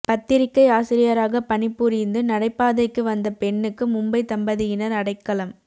பத்திரிக்கை ஆசிரியராக பணிபுரிந்து நடைபாதைக்கு வந்த பெண்ணுக்கு மும்பை தம்பதியினர் அடைக்கலம்